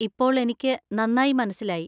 ഇപ്പോൾ എനിക്ക് നന്നായി മനസ്സിലായി.